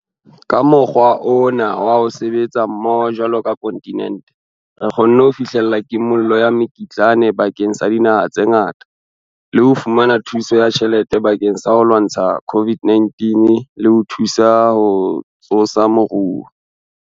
Ka mokgwa ona wa ho sebetsa mmoho jwalo ka kontinente, re kgonne ho fihlella kimollo ya mekitlane bakeng sa dinaha tse ngata le ho fumana thuso ya tjhelete bakeng sa ho lwantsha COVID-19 le ho thusa ho tsosa moruo.